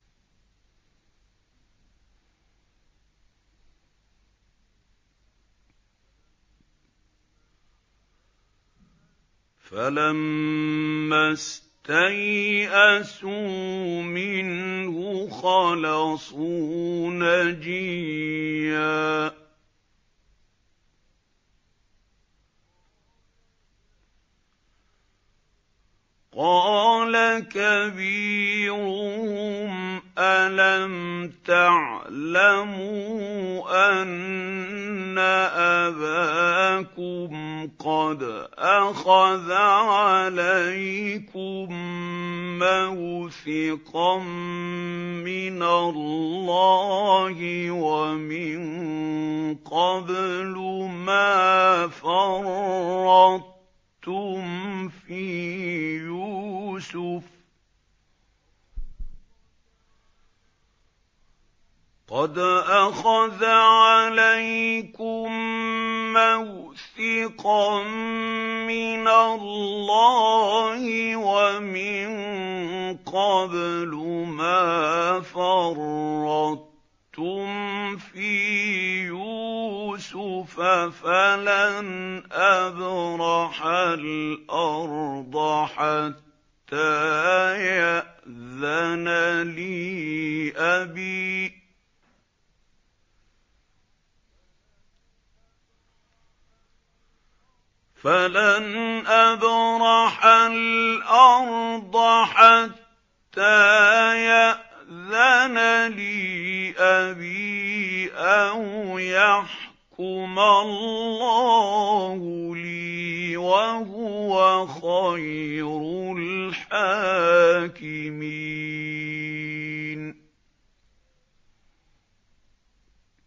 فَلَمَّا اسْتَيْأَسُوا مِنْهُ خَلَصُوا نَجِيًّا ۖ قَالَ كَبِيرُهُمْ أَلَمْ تَعْلَمُوا أَنَّ أَبَاكُمْ قَدْ أَخَذَ عَلَيْكُم مَّوْثِقًا مِّنَ اللَّهِ وَمِن قَبْلُ مَا فَرَّطتُمْ فِي يُوسُفَ ۖ فَلَنْ أَبْرَحَ الْأَرْضَ حَتَّىٰ يَأْذَنَ لِي أَبِي أَوْ يَحْكُمَ اللَّهُ لِي ۖ وَهُوَ خَيْرُ الْحَاكِمِينَ